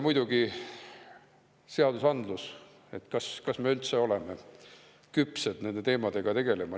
Muidugi just seadusandlus, kas me üldse oleme küpsed nende teemadega tegelema.